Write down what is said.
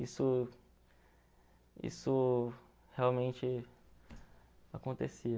Isso isso realmente acontecia.